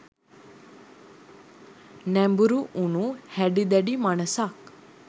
නැඹුරු වුණු හැඩි දැඩි මනසක්